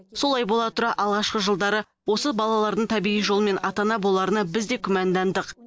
солай бола тұра алғашқы жылдары осы балалардың табиғи жолмен ата ана боларына біз де күмәндандық